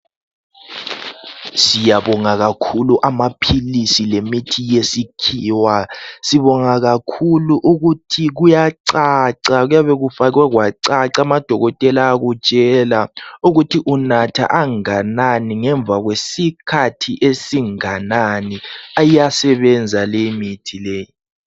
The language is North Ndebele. Siyabonga kakhulu amapills lemithi yesikhiwa siyabonga kakhulu ukuthi kuyacaca kuyabe kufakwe kwacaca amadokotela ayakutshela ukuthi unatha onganani ngemva kwesikhathi esinganani iyasebenza leyimithi le